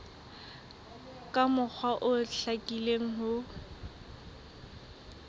ka mokgwa o hlakileng ho